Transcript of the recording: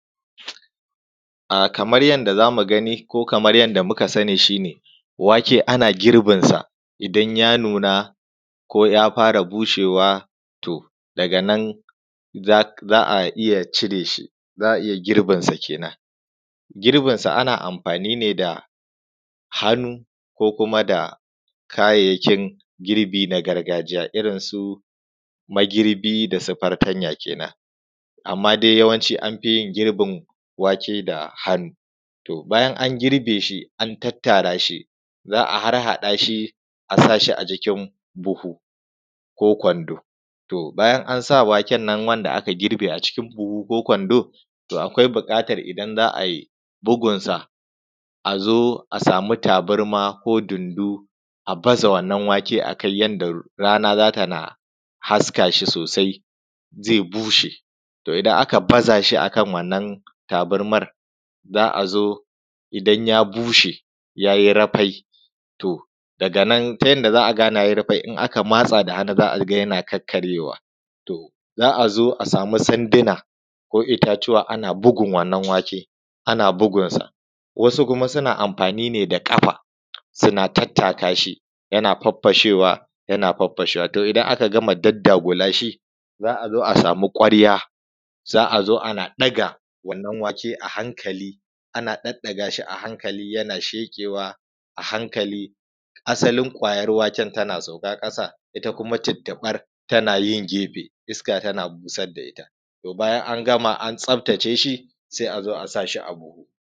Ah kamar yanda za mu gani ko kamar yanda muka sani shi ne wake ana girbin sa idan ya nuna ko ya fara bushewa to, daga nan za a iya cire shi, za a iya girbinsa kenan. Girbinsa ana amfani ne da hannu ko kuma da kayayyakin girbi na gargajiya irinsu magirbi da su fartanya kenan, amma dai an fi yin girbin wake da hannu. To bayan an girbe shi an tattara shi, za a harhaɗa shi a sa shi acikin buhu ko kwando. To bayan an sa waken nan wanda aka girbe acikin buhu ko kwando, to akwai buƙatar idan za a yi bugunsa a zo a samu tabarma ko dundu a baza wannan wake a kai yanda rana za ta na haska shi sosai, zai bushe. To idan aka baza shi akan wannan tabarmar, za zo idan ya bushe ya yi rafai, to daga nan ta yanda za gane ya yi rafai in aka matsa da hannu za a ga yana kakkaryewa. To za a zo a samu sanduna ko itatuwa ana bugun wannan wake ana bugunsa, wasu kuma suna amfani ne da ƙafa, suna tattaa shi yana faffashewa, yana faffashewa, to idan aka gama daddagula shi za a zo a samu ƙwarya, za a zo ana ɗaga wannan wake a hankali, ana ɗaɗɗagashi a hankali yana sheƙewa a hankali, asalin ƙwayar waken tana sauka ƙasa, ita kuma tuttuɓar tana yin gefe iska tana busar da ita. To bayan an gama an tsaftace shi sai a zo a sa shi a buhu.